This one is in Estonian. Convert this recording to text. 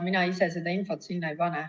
Mina ise seda infot sinna ei pane.